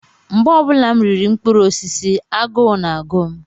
Mgbe ọ bụla m riri mkpụrụ osisi, agụụ na-agụ m.